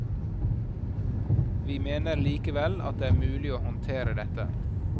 Vi mener likevel at det er mulig å håndtere dette.